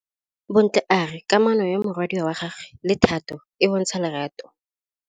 Bontle a re kamanô ya morwadi wa gagwe le Thato e bontsha lerato.